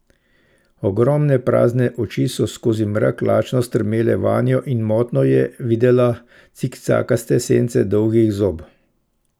Ogromne prazne oči so skozi mrak lačno strmele vanjo in motno je videla cikcakaste sence dolgih zob.